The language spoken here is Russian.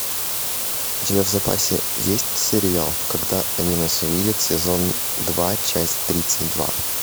у тебя в запасе есть сериал когда они нас увидят сезон два часть тридцать два